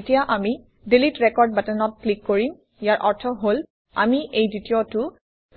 এতিয়া আমি delete record বাটনত ক্লিক কৰিম ইয়াৰ অৰ্থ হল আমি এই দ্বিতীয়টো